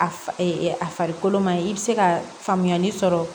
A a farikolo ma ɲi i bɛ se ka faamuyali sɔrɔ